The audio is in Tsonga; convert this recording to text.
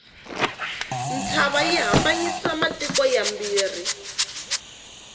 ntshava yi hambanyisa matiko mambirhi